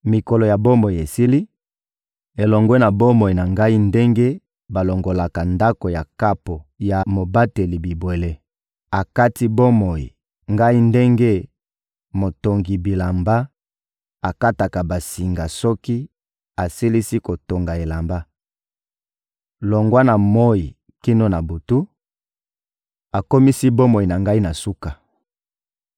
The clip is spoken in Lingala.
Mikolo ya bomoi esili, elongwe na bomoi na ngai ndenge balongolaka ndako ya kapo ya mobateli bibwele. Akati bomoi ngai ndenge motongi bilamba akataka basinga soki asilisi kotonga elamba. Longwa na moyi kino na butu, akomisi bomoi na ngai na suka.